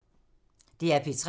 DR P3